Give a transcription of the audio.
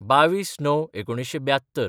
२१/०९/१९७२